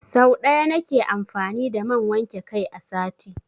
Sau ɗaya na ke amfani da man wanke kai a sati.